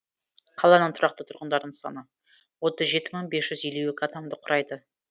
қаланың тұрақты тұрғындарының саны отыз жеті мың бес жүз елу екі адамды құрайды